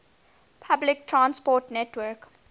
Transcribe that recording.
public transport network